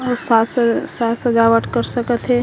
और साज स साज सजावट कर सकत हे।